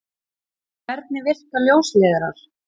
Hvernig virka ljósleiðarar?